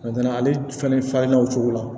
ale fana farinna o cogo la